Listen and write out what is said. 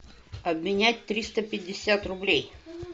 обменять триста пятьдесят рублей